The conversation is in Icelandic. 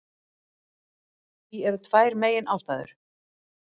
Fyrir því eru tvær meginástæður.